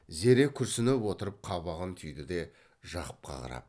зере күрсініп отырып қабағын түйді де жақыпқа қарап